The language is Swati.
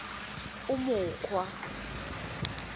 umukhwa